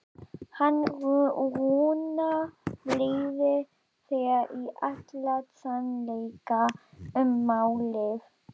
Hann Rúnar leiðir þig í allan sannleika um málið.